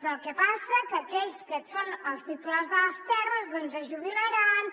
però el que passa que aquells que són els titulars de les terres doncs es jubilaran